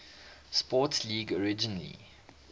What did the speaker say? sports league originally